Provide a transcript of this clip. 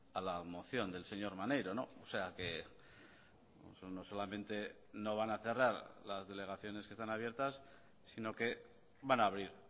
a la moción del señor maneiro o sea que no solamente no van a cerrar las delegaciones que están abiertas sino que van a abrir